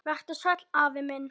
Vertu sæll, afi minn.